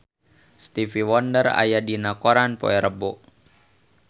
Stevie Wonder aya dina koran poe Rebo